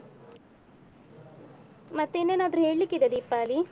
ಮತ್ತೆ ಇನ್ನೇನಾದ್ರೂ ಹೇಳ್ಳಿಕ್ಕಿದೆಯ ದೀಪಾಲಿ?